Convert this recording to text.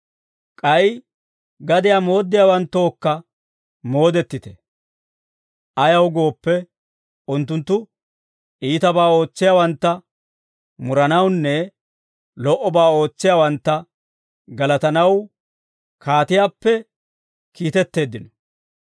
K'ay gadiyaa mooddiyaawanttookka moodettite. Ayaw gooppe, unttunttu iitabaa ootsiyaawantta muranawunne lo"obaa ootsiyaawantta galatanaw kaatiyaappe kiitetteeddino.